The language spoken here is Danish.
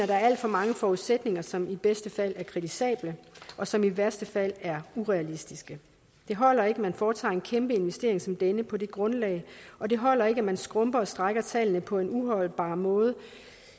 der er alt for mange forudsætninger som i bedste fald er kritisable og som i værste fald er urealistiske det holder ikke at man foretager en kæmpe investering som denne på det grundlag og det holder ikke at man skrumper og strækker tallene på en uholdbar måde